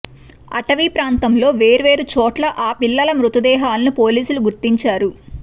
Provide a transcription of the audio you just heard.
అటవీ ప్రాంతంలో వేర్వేరు చోట్ల ఆ పిల్లల మృతదేహాలను పోలీసులు గుర్తించారు